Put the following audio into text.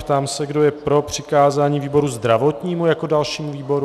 Ptám se, kdo je pro přikázání výboru zdravotnímu jako dalšímu výboru.